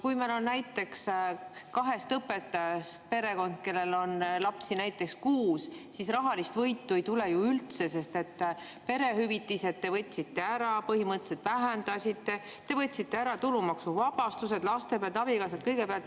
Kui meil on näiteks kahest õpetajast perekond, kellel on lapsi näiteks kuus, siis rahalist võitu ei tule ju üldse, sest perehüvitised te võtsite ära, põhimõtteliselt vähendasite, te võtsite ära tulumaksuvabastused laste pealt, abikaasa pealt, kõige pealt.